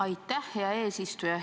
Aitäh, hea eesistuja!